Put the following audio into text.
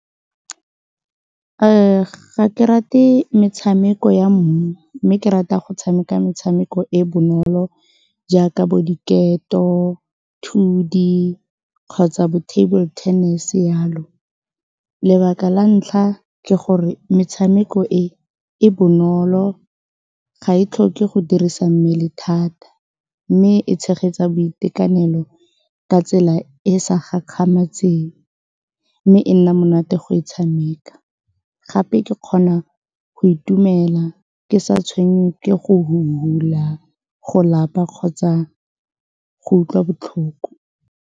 Ga ke rate metshameko ya mmu mme ke rata go tshameka metshameko e bonolo jaaka bo diketo, thudi kgotsa bo-table tennis jalo. Lebaka la ntlha ke gore metshameko e, e bonolo, ga e tlhoke go dirisa mmele thata, mme e tshegetsa boitekanelo ka tsela e e sa gakgametseng mme e nna monate go e tshameka. Gape ke kgona go itumela ke sa tshwenngwe ke go fufula, go lapa kgotsa go utlwa botlhoko.